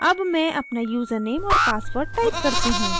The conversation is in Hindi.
अब मैं अपना यूज़रनेम और password type करती हूँ